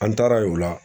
An taara ye o la